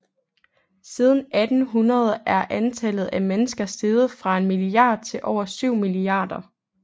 Siden 1800 er antallet af mennesker steget fra en milliard til over syv milliarder